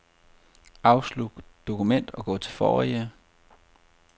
Afslut dokument og gå til forrige.